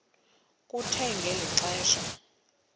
kuthe ngeli xesha